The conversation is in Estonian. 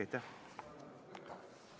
Aitäh!